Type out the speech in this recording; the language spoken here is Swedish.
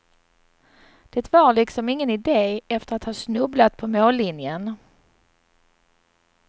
Det var liksom ingen ide efter att ha snubblat på mållinjen.